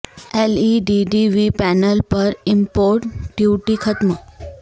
L E D T V panel پر import duty ختم